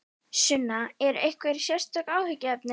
Sunna: Eru einhver sérstök áhyggjuefni?